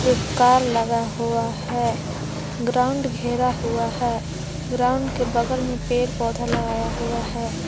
एक कार लगा हुआ है ग्राउंड घेरा हुआ है ग्राउंड के बगल में पेड़ पौधा लगाया हुआ है।